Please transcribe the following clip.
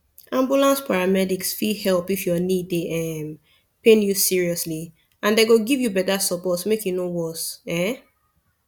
ambulance paramedics fit help if your knee dey um pain you seriously and dem go give you better support make e no worse um